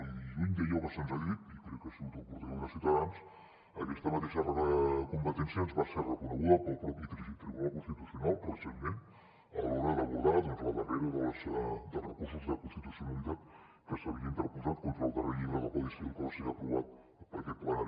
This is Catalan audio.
i lluny d’allò que se’ns ha dit i crec que ha sigut el portaveu de ciutadans aquesta mateixa competència ens va ser reconeguda pel mateix tribunal constitucional recentment a l’hora d’abordar doncs el darrer dels recursos d’inconstitucionalitat que s’havia interposat contra el darrer llibre del codi civil que va ser aprovat per aquest ple